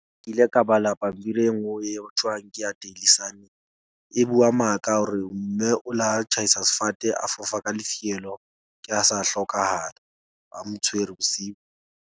Ke ile ka bala pampiri e nngwe eo ho thuwang ke ya daily sun. E bua maka hore mme o la tjhaisa sefate a fofa ka lefielo, ke ha sa hlokahala, a mo tshwere bosiu.